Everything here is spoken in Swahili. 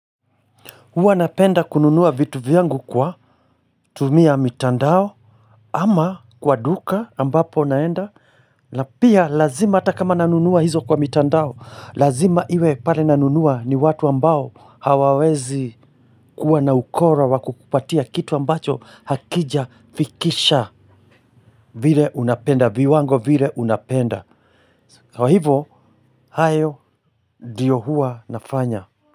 Huwa napenda kununuwa vitu vyangu kwa tumia mitandao ama kwa duka ambapo naenda na pia lazima atakama nanunuwa hizo kwa mitandao Lazima iwe pale nanunuwa ni watu ambao hawawezi kuwa na ukora wakukupatia kitu ambacho Hakija fikisha vile unapenda viwango vile unapenda Kwa hivo, hayo ndio huwa nafanya.